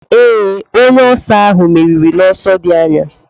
Ee, onye oso ahụ meriri n'ọsọ dị anya.